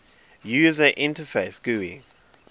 user interface gui